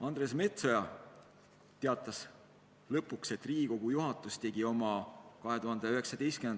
Andres Metsoja teatas lõpuks, et Riigikogu juhatus tegi oma 3.